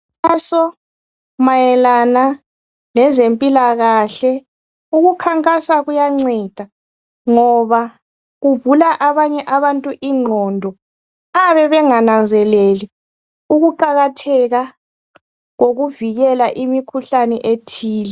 Umkhankaso mayelana lezempilakahle ukukhankasa kuyanceda ngoba kuvula abanye abantu ingqondo abayabe bengananzeleli ukuqakatheka kokuvikela imikhuhlane ethile.